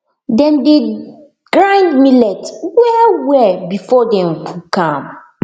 dem dey grind millet wellwell before dem cook am